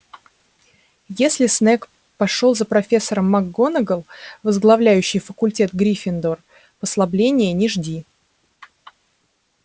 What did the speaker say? если снегг пошёл за профессором макгонагалл возглавляющей факультет гриффиндор послабления не жди